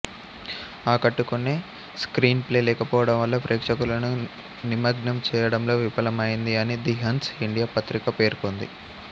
ఆకట్టుకునే screenplay లేకపోవడం వల్ల ప్రేక్షకులను నిమగ్నం చేయడంలో విఫలమయింది అని ది హన్స్ ఇండియా పత్రిక పేర్కొంది